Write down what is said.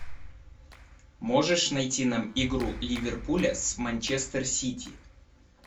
можешь найти нам игру ливерпуля с манчестер сити